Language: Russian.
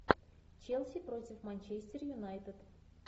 челси против манчестер юнайтед